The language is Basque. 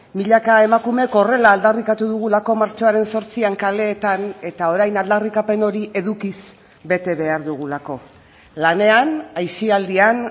milaka emakumek horrela aldarrikatu dugulako martxoaren zortzian kaleetan eta orain aldarrikapen hori edukiz bete behar dugulako lanean aisialdian